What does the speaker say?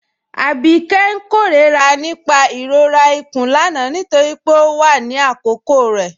Abikẹ̀'s n kẹrọra nípà ìrọ̀rà ikún lánà nítorí pé ọ wà ní àkókò rẹ